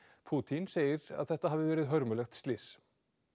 Pútín segir að þetta hafi verið hörmulegt slys